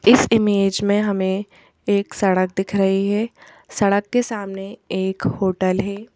इस इमेज में हमें एक सड़क दिख रही है सड़क के सामने एक होटल है।